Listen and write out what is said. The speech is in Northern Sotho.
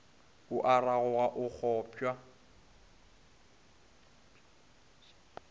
o a ragoga o kgopša